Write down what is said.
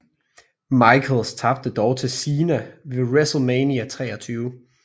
Michaels tabte dog til Cena ved WrestleMania 23